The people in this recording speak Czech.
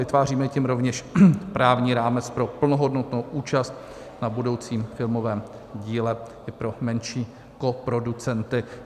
Vytváříme tím rovněž právní rámec pro plnohodnotnou účast na budoucím filmovém díle i pro menší koproducenty.